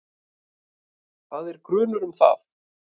Það er grunur um það.